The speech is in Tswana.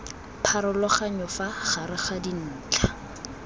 pharologanyo fa gare ga dintlha